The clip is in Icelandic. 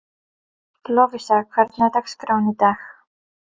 Lovísa, hvernig er dagskráin í dag?